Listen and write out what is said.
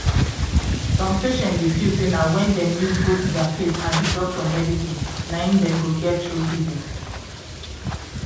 some patients dey feel say na when dem use both dia faith and di doctor medicine na im dem go get true healing.